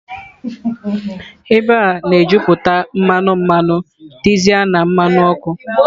Ebe a na-ejuputa mmanụ, mmanụ dizel na mmanụ ọkụ.